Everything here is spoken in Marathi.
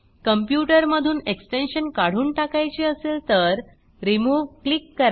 कॉम्प्युटरमधून एक्सटेन्शन काढून टाकायचे असेल तर रिमूव्ह क्लिक करा